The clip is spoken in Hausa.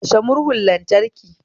Kashe murhun lantraki